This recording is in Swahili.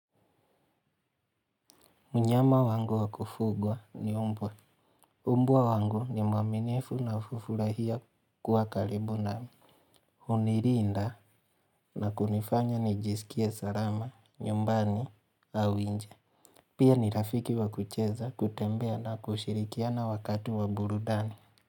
Mnyama wangu wa kufugwa ni mbwa. Mbwa wangu ni mwaminifu na hufurahia kuwa karibu nami. Hunilinda na kunifanya nijisikie salama, nyumbani, au nje. Pia ni rafiki wa kucheza, kutembea na kushirikiana wakati wa burudani.